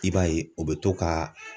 I b'a ye, u bɛ to ka